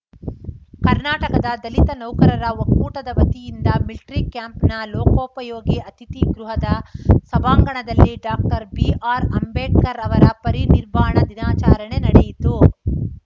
ಕರ್ನಾಟಕದ ದಲಿತ ನೌಕರರ ಒಕ್ಕೂಟದ ವತಿಯಿಂದ ಮಿಲ್ಟ್ರಿ ಕ್ಯಾಂಪ್‌ನ ಲೋಕೋಪಯೋಗಿ ಅತಿಥಿ ಗೃಹದ ಸಭಾಂಗಣದಲ್ಲಿ ಡಾಕ್ಟರ್ ಬಿಆರ್‌ ಅಂಬೇಡ್ಕರ್‌ ಅವರ ಪರಿನಿರ್ವಾಣ ದಿನಾಚರಣೆ ನಡೆಯಿತು